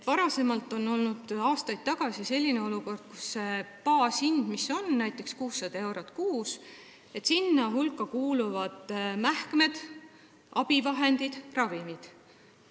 Aastaid tagasi oli selline olukord, et baashinna hulka, mis on näiteks 600 eurot kuus, kuuluvad mähkmed, abivahendid, ravimid.